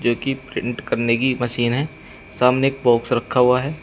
जो की प्रिंट करने की मशीन है सामने एक बॉक्स रखा हुआ है।